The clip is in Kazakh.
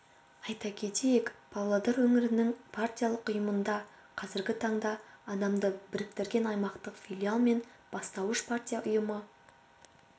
айта кетейік павлодар өңірінің партиялық ұйымында қазіргі таңда адамды біріктіретін аумақтық филиал мен бастауыш партия ұйымы